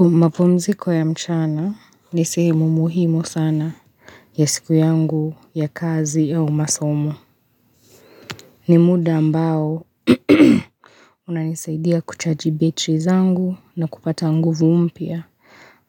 Mapumziko ya mchana ni sehemu muhimu sana ya siku yangu ya kazi ya umasomo. Ni muda ambao unanisaidia kuchaji battery zangu na kupata nguvu mpya